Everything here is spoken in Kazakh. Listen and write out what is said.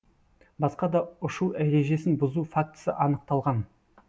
басқа да ұшу ережесін бұзу фактісі анықталған